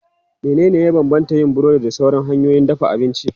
Menene ya bambanta yin burodi da sauran hanyoyin dafa abinci?